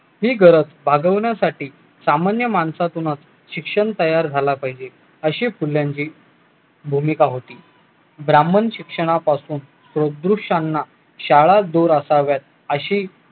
ही गरज भागवण्यासाठी सामान्य माणसातूनच शिक्षण तयार झाला पाहिजे अशी फुल्यांची भूमिका होती ब्राम्हण शिक्षणापासून सादृश्याना शाळा दूर असाव्यात अशी